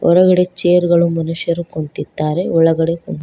ಹೊರಗಡೆ ಚೇರ್ ಗಳು ಮನುಷ್ಯರು ಕುಂತಿದ್ದಾರೆ ಒಳಗಡೆ ಕುನ್--